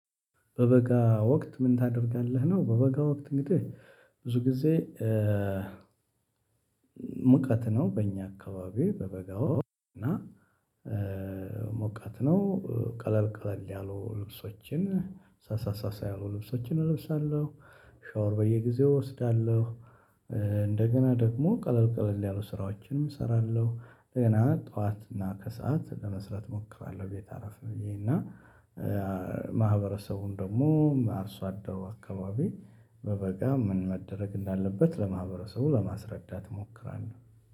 በበጋ ወቅት ምን ታደርጋለህ ነው? በበጋ ወቅት እንግዲህ ብዙ ጊዜ ሙቀት ነው በእኛ አካባቢ በበጋው እና ሙቀት ነው ቀለል ቀለል ያሉ ልብሶችን ሳሳ ሳሳ ያሉ ልብሶችን እለብሳለሁ። ሻወር በየጊዜው እወስዳለሁ። እንደገና ደግሞ ቀለል ቀለል ያሉ ስራዎችንም እሰራለሁ እንደገና ጠዋት እና ከሰአት ለመስራት እሞክራለሁ። ቤት አረፍ ብዬ እና ማህበረሰቡን ደግሞ አርሶ አደሮ አካባቢ በበጋ ምን መደረግ እንዳለበት ለማህበረሰቡ ለማስረዳት እሞክራለሁ።